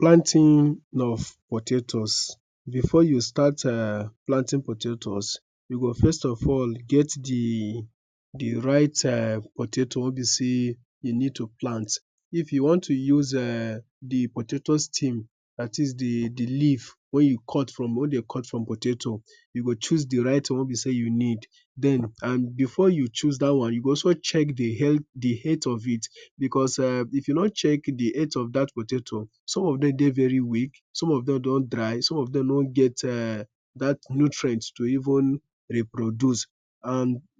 planting of potatoes. Before you start planting potatoes, you go first of all get the right potato weh be say u need to plant. If you want to use the potato stem dat is de leaf, where you cut from potato you go chose d right one weh you need. Dem before you choose dat wan, you gats check the health of it, because if you no check the health of that potato, some of dem de really weak, some of dem don dry, some of them no get that nutrients to even reproduce.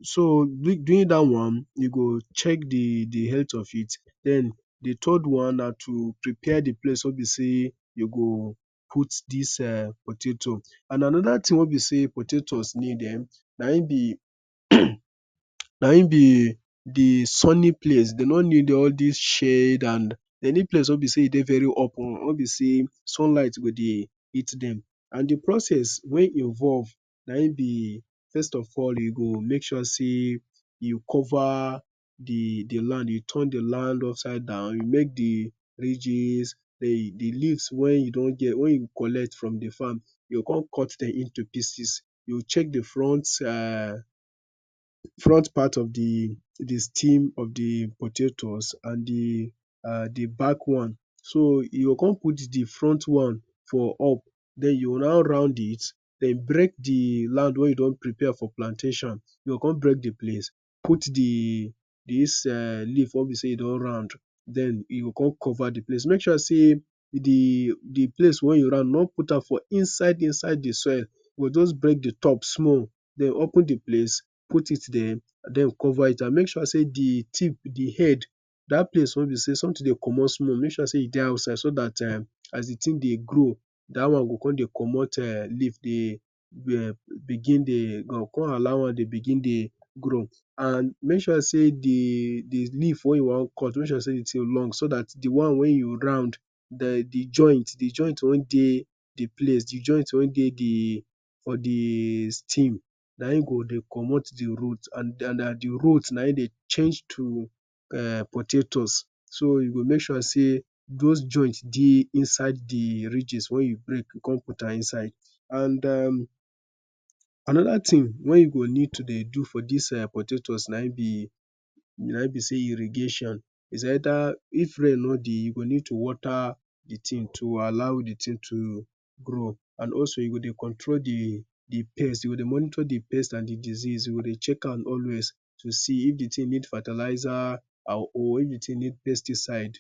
So doing that one, you go check the health of it den d third one na to prepare a place weh be say you go put this potato. And anoda tin weh potato need na en be na en be Na en be sunny place. No be all this shade, de need open space weh sunlight go hit dem. And de process weh involve na en be first of all, you make sure say you cover d land upside down, you make the ridges, the leaves weh u collect from de farm, you go come cut am onto Pieces. You check de front front part of the steam of the potato and the back one So you go come out the front one for up, then you’ll now round it, then break de land weh u don prepare for plantation You go come break de place, put dis eh leave weh be sey e don round, then you go come cover d place. Make sure say d place weh u round, no put am inside inside de soil. Just break d top small, den open the place, put it there and cover it and make sure de tip or d head, dat place weh be say something de commot small, make sure e de outside so as de tin de grow, dat wan go come dey comot leaf begin de comot leaf And make sure say d leaf you wan cut, makes sure say e long so dat d wan you round de joint, de joint wan de de place. De joint wan de for de stem Na en go de commot de root and na de root na e de change to potatoes. So you go make sure say those joints de inside de ridges weh you break come put am inside. And uhmm anoda tin weh u go need to de do for dis potatoes na en be say irrigation. It’s either, if rain no de you go need to water d tin to allow de tin to grow Also, you go de control de pest. U go de Monitor de pest and diseases, u go de check am always to see if d tin need fertilizer or if e need pesticide